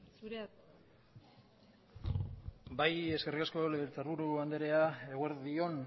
zurea da hitza bai eskerrik asko legebiltzarburu andrea eguerdi on